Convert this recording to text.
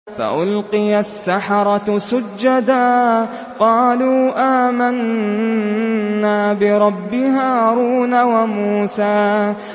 فَأُلْقِيَ السَّحَرَةُ سُجَّدًا قَالُوا آمَنَّا بِرَبِّ هَارُونَ وَمُوسَىٰ